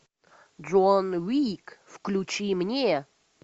джон уик включи мне